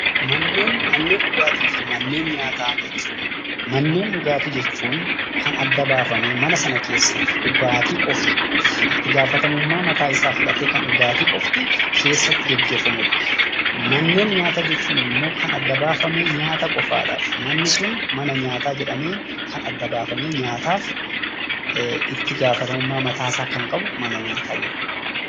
Manneen dhugaatifi manneen nyaata jechuun; manneen dhigaatti jechuun, Kan adda baafamee mana sana keessatti dhugaatti qofti itti gaafatamummaa mataa isaa fudhaate Kan dhugaatti qofti keessatti geggeeffamuudha. manneen nyaata jechuun immoo; Kan adda baafamee nyaata qofaadhaaf manni sun mana nyaata jedhamee Kan adda baafamee nyaataaf itti gaafatamummaa mataa isaa Kan qabu mana nyaataa jedhama.